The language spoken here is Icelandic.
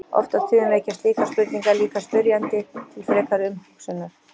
Oft á tíðum vekja slíkar spurningar líka spyrjanda til frekari umhugsunar.